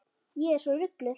Ég er svo rugluð.